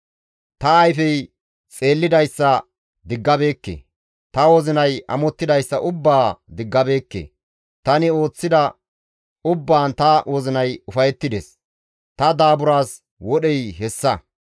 Ta ayfey xeellidayssa diggabeekke; ta wozinay amottidayssa ubbaa diggabeekke; tani ooththida ubbaan ta wozinay ufayettides; ta daaburaas wodhey hessa.